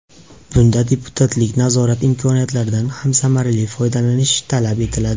Bunda deputatlik nazorati imkoniyatlaridan ham samarali foydalanish talab etiladi.